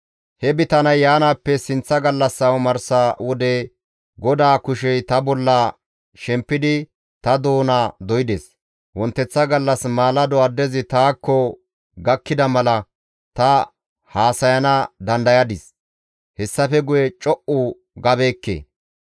He bitaney yaanaappe sinththa gallassa omarsa wode GODAA kushey ta bolla shempidi ta doona doydes; wonteththa gallas maalado addezi taakko gakkida mala ta haasayana dandayadis; hessafe guye co7u gabeekke.